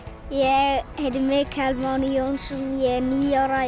ég heiti Mikael Máni Jónsson og ég er níu ára